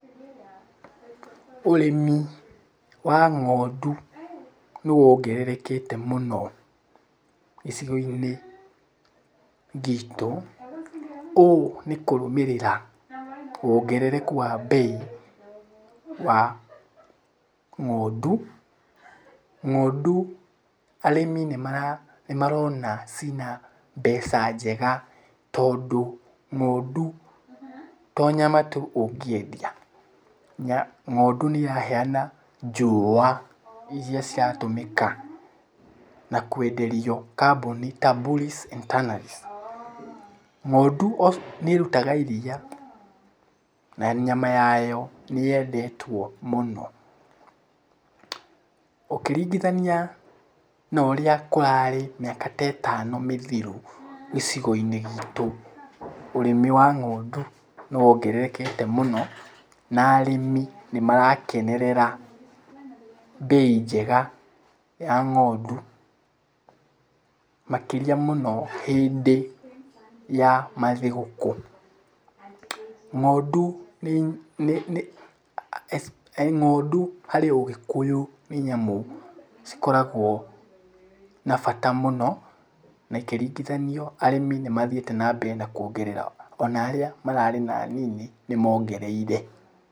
Ũrĩmi wa ng'ondu nĩ wongererekete mũno gĩcigo-inĩ gitũ. Ũũ nĩ kũrumĩrĩra wongerereku wa mbei wa ng'ondu. Ng'ondu arĩmi nĩ marona ciĩna mbeca njega, tondũ ng'ondu to nyama tu ũngĩendia. Ng'ondu nĩ ĩraheana njũa irĩa ciratũmĩka na kwenderio kambuni ta Bullies and Tannaries. Ng'ondu nĩ ĩrugaga iria na nyama yayo nĩ yendetwo mũno. Ũkĩringithania na ũrĩa kũrarĩ mĩaka ta ĩtano mĩthiru gĩcigo-inĩ gitũ, ũrĩmi wa ng'ondu nĩ wongererekete mũno, na arĩmi nĩ marakenerera mbei njega ya ng'ondu. Makĩria mũno hĩndĩ ya mathigũkũ. Ng'ondu harĩ ũgĩkũyũ nĩ nyamũ cikoragwo na bata mũno, na ikĩringithanio arĩmi nĩ mathiĩte na mbere na kuongerera. Ona arĩa mararĩ na nini nĩ mongereire.